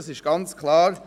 Das ist ganz klar.